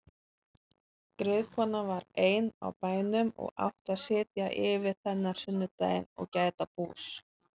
Griðkonan var ein á bænum og átti að sitja yfir þennan sunnudaginn og gæta bús.